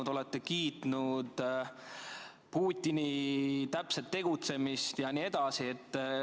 Te olete kiitnud Putini täpset tegutsemist jne.